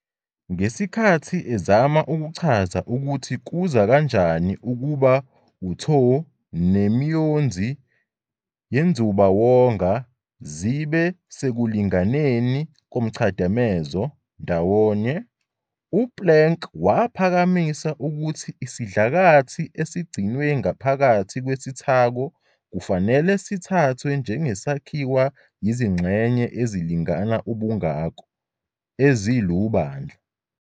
Ngesikhathi ezama ukuchaza ukuthi kuza kanjani ukuba uTho nemiyonzi yenzubawonga zibe sekulinganeni komchadamezo "thermal equilibrium" ndawonye, u-Planck waphakamisa ukuthi isidlakathi esigcinwe ngaphakathi kwesithako kufanele sithathwe njengesakhiwa izingxenye ezilingana ubungako, ezilubandlu.